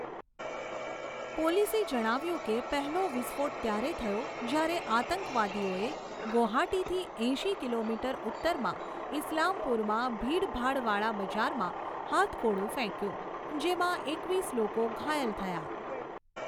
પોલીસે જણાવ્યુંં કે પહેલો વિસ્ફોટ ત્યારે થયો જ્યારે આતંકવાદીઓએ ગૌહાટીથી એંશી કિલોમીટર ઉત્તરમાં ઈસ્લામપુરમાં ભીડભાડવાળા બજારમાં હાથગોળો ફેંક્યો, જેમાં એકવીસ લોકો ઘાયલ થયા.